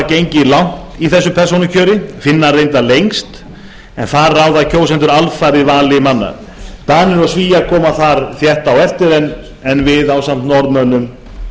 gengið langt í slíku persónukjöri finnar reyndar lengst en þar ráða kjósendur alfarið vali manna danir og svíar koma þar rétt á eftir en við ásamt norðmönnum